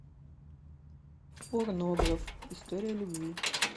порнограф история любви